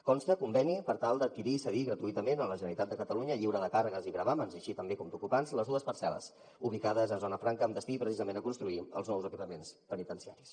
consta un conveni per tal d’ad quirir i cedir gratuïtament a la generalitat de catalunya lliure de càrregues i gravàmens així també com d’ocupants les dues parcel·les ubicades a zona franca amb destinació precisament de construir els nous equipaments penitenciaris